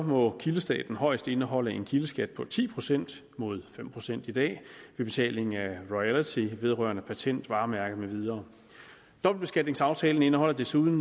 må kildestaten højst indeholde en kildeskat på ti procent mod fem procent i dag ved betaling af royalty vedrørende patent varemærke med videre dobbeltbeskatningsaftalen indeholder desuden